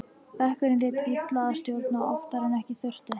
Bekkurinn lét illa að stjórn og oftar en ekki þurfti